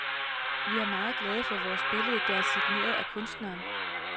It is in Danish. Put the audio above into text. Vi er meget glade for vores billede, der er signeret af kunstneren.